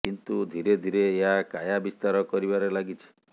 କିନ୍ତୁ ଧିରେ ଧିରେ ଏହା କାୟା ବିସ୍ତାର କରିବାରେ ଲାଗିଛି